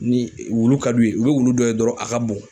Ni wulu ka d'u ye, u be wulu dɔ ye dɔrɔn a ka bon.